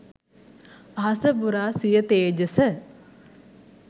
අහස පුරා සිය තේජස